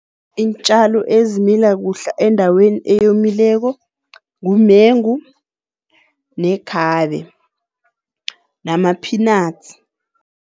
Iintjalo ezimila kuhle endaweni eyomileko, ngumengu nekhabe nama-peanuts.